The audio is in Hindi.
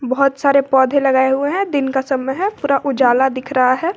बहुत सारे पौधे लगाए हुए हैं दिन का समय है पूरा उजाला दिख रहा है।